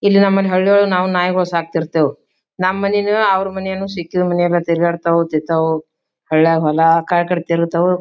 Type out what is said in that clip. ಇಲ್ಲಿ ನಮ್ ಮನ್ ಹಳ್ಳಿವಳಗ್ ನಾಯಿಗೋಳ್ ಸಾಕ್ತಿರ್ತೇವಿ. ನಮ್ ಮನಿನು ಅವ್ರ ಮನಿನು ಸಿಕ್ಕಿದ್ ಮನಿಯಲ್ಲ ತಿರ್ಗಾಡ್ತಾವ್ ತಿಂತಾವ್ ಹಳ್ಳಿಯಾಗ್ ಹೊಲ ಆಕಡೆ ಈಕಡೆ ತೀರ್ತಾವು.